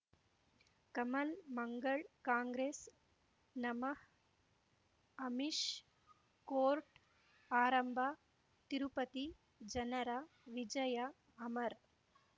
ಕಮಲ್ ಮಂಗಳ್ ಕಾಂಗ್ರೆಸ್ ನಮಃ ಅಮಿಷ್ ಕೋರ್ಟ್ ಆರಂಭ ತಿರುಪತಿ ಜನರ ವಿಜಯ ಅಮರ್